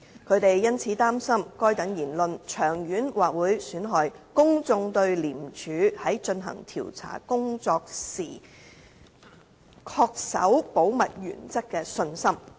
他們因此擔心該等言論長遠或會損害公眾對廉署在進行調查工作時恪守保密原則的信心。